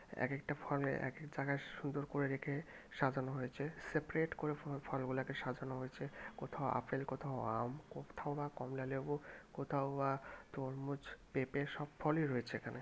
এক একটা ফলে এক এক জায়গায় সুন্দর করে রেখে সাজানো হয়েছে সেপারেট করে ফল-ফলগুলোকে সাজানো হয়েছে কোথাও আপেল কোথাও আম কোথাও বা কমলালেবু কোথাও বা তরমুজ পেঁপে সব ফলই রয়েছে এখানে।